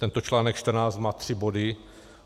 Tento článek 14 má tři body.